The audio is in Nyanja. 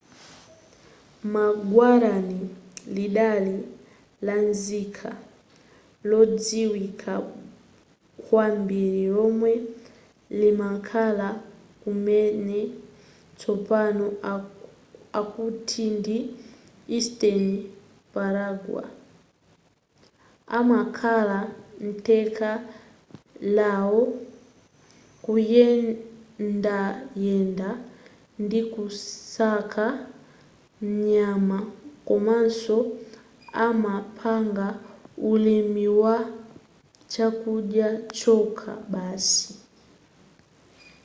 ma guaraní lidali lanzika lodziwika kwambiri lomwe limakhala kumene tsopano akuti ndi eastern paraguay amakhala theka lawo kuyendayenda ndikusaka nyama komaso amapanga ulimi wa chakudya chokha basi